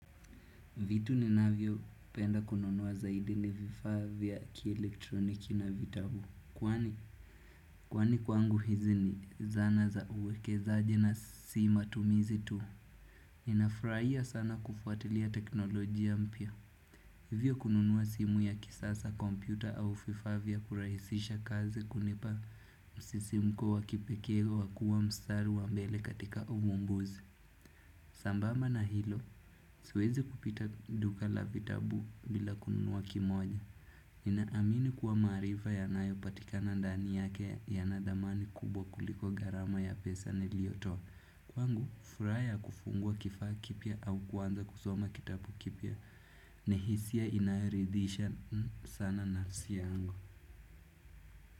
Vitu ninavyopenda kununua zaidi ni vifaa vya kielektroniki na vitabu. Kwani kwangu hizi ni zana za uwekezaji na si matumizi tu? Ninafurahia sana kufuatilia teknolojia mpya. Hivyo kununua simu ya kisasa kompyuta au vifaa vya kurahisisha kazi hunipa msisimko wakipekee wa kuwa mstari wa mbele katika uvumbuzi. Sambamba na hilo, siwezi kupita duka la vitabu bila kununua kimoja. Ninaamini kuwa maarifa yanayopatika ndani yake yanadhamani kubwa kuliko gharama ya pesa niliyotoa. Kwangu, furaha ya kufungua kifaa kipya au kuanza kusoma kitabu kipya. Ni hisia inayoridhisha sana nafsi yangu.